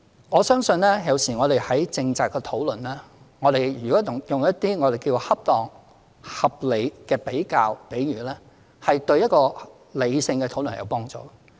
我相信有時我們進行政策討論，如果用一些我們稱為恰當、合理的比較或比喻，有助於進行理性的討論。